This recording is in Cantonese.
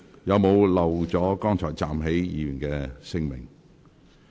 有沒有遺漏剛才站立的議員的姓名？